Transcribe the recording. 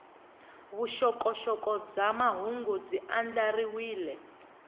vuxokoxoko bya mahungu byi andlariwile